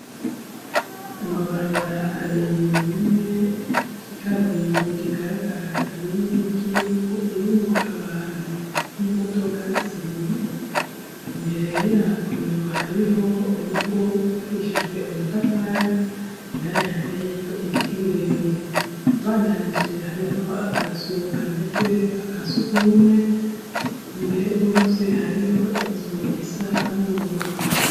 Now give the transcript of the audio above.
Amabarabara abiri rimwe ry'i kaburimbi rigaragara irindi ryivu irimwo abantu n'imodoka zibiri imbere yayo hariho urugo ubakishijwe amatafari indani hateeyo ibiti birebire bandamije hariho akazuka ameze nkakasiugumwe imbere rwose hariho inzu isa n'ubururu.